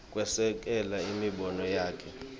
kwesekela imibono yakhe